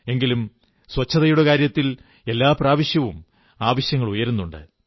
എങ്കിലും ശുചിത്വത്തിന്റെ കാര്യത്തിൽ എല്ലാ പ്രാവശ്യവും ആവശ്യങ്ങൾ ഉയരുന്നുണ്ട്